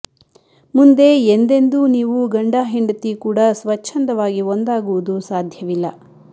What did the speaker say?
ಮುಂದೆ ಎಂದೆಂದೂ ನೀವು ಗಂಡ ಹೆಂಡತಿ ಕೂಡ ಸ್ವಚ್ಛಂದವಾಗಿ ಒಂದಾಗುವುದು ಸಾದ್ಯವಿಲ್ಲ